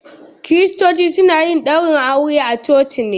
Kiristoci suna yin daurin aure a coci ne.